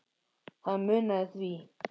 Það munaði því